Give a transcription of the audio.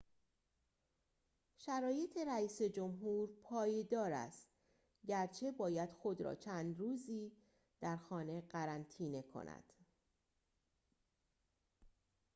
شرایط رئیس‌جمهور پایدار است گرچه باید خود را چند روزی در خانه قرنطینه کند